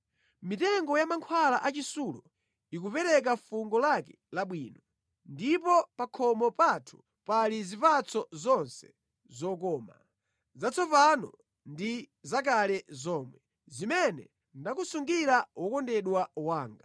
Mitengo ya mankhwala a chisulo ikupereka fungo lake labwino, ndipo pa khomo pathu pali zipatso zonse zokoma, zatsopano ndi zakale zomwe, zimene ndakusungira wokondedwa wanga.